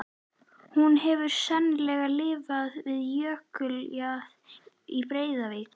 Hún hefur sennilega lifað við jökuljaðar í Breiðavík.